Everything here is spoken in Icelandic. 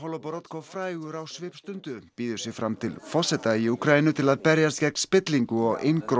Holoborodko frægur á svipstundu býður sig fram til forseta til að berjast gegn spillingu og